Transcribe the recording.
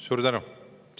Suur tänu!